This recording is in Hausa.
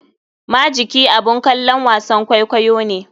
Majiki abun kalon wasan kwaikwayo ne.